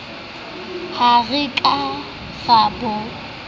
ha re ka ra bo